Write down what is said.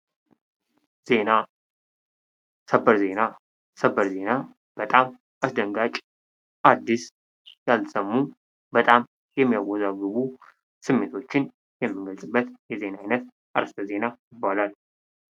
ዜና ሰበር ዜና በጣም አስደንጋጭ አዲስ ያልተሰሙ በጣም የሚያወዛግቡ ስሜቶችን የምንገልጽበት የዜና ዓይነት አርስተ ዜና ይባላል።